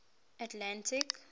atlantic